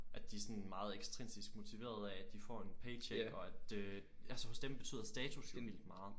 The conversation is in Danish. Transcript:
At de er sådan meget intrinsisk motiveret af at de får en paycheck og at øh altså hos dem betyder status jo vildt meget